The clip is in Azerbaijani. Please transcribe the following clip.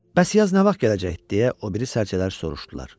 Bəs yaz nə vaxt gələcəkdi, deyə o biri sərcələr soruşdular.